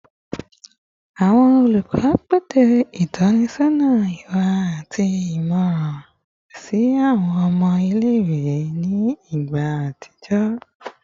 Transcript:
Awọn olukọ pese itọnisọna iwa ati imọran si awọn ọmọ ile-iwe ni igba atijọ